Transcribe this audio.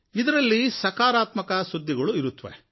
ಇದರಲ್ಲಿ ಸಕಾರಾತ್ಮಕ ಸುದ್ದಿಗಳು ಇರುತ್ತವೆ